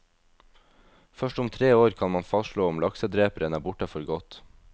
Først om tre år kan man fastslå om laksedreperen er borte for godt.